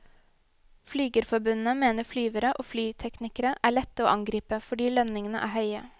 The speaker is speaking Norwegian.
Flygerforbundet mener flyvere og flyteknikere er lette å angripe, fordi lønningene er høye.